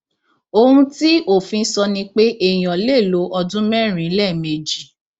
ohun tí òfin sọ ni pé èèyàn lè lo ọdún mẹrin lẹẹmejì